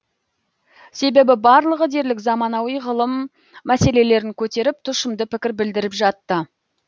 себебі барлығы дерлік заманауи ғылым мәселелерін көтеріп тұшымды пікір білдіріп жатты